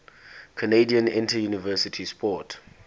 canadian interuniversity sport